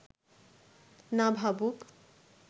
না ভাবুক